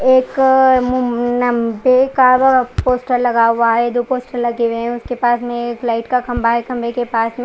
एक पोस्टर लगे हुए है दो पोस्टर लगे हुए है उसके पास में एक लाईट का खम्बा है खम्बे के पास में--